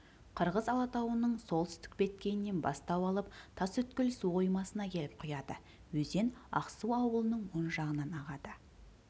қырғыз алатауының солтүстік беткейінен бастау алып тасөткел суқоймасына келіп құяды өзен ақсу ауылының оң жағынан ағады